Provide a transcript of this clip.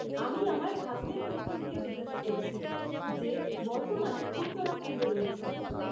আমি আমার ভাগ্নের পক্ষ থেকে জিজ্ঞাসা করছি, যে বর্তমানে উত্তরাখণ্ডে রয়েছে।